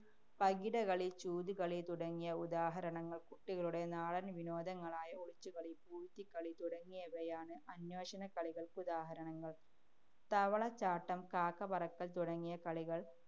പകിടകളി, ചൂതുകളി തുടങ്ങിയവ ഉദാഹരണങ്ങള്‍. കുട്ടികളുടെ നാടന്‍വിനോദങ്ങളായ ഒളിച്ചുകളി, പൂഴ്ത്തിക്കളി തുടങ്ങിയവയാണ് അന്വേഷണക്കളികള്‍ക്കുദാഹരണങ്ങള്‍. തവളച്ചാട്ടം, കാക്കപ്പറക്കല്‍ തുടങ്ങിയ കളികള്‍